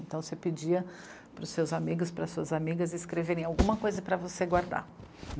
Então, você pedia para os seus amigos, para as suas amigas escreverem alguma coisa para você guardar.